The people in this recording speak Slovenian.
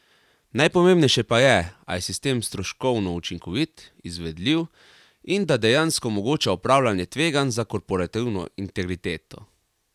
Najpomembnejše pa je, a je sistem stroškovno učinkovit, izvedljiv in da dejansko omogoča upravljanje tveganj za korporativno integriteto.